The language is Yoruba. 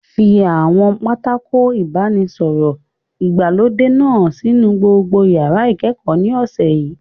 Fi àwọn pátákó ìbánisọ̀rọ̀ ìgbàlódé náà sínú gbogbo yàrá ìkẹ́kọ̀ọ́ ní ọ̀sẹ̀ yìí!